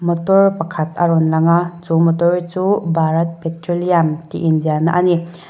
motor pakhat a rawn lang a chu motor chu bharat petroleum tih in ziah na a ni.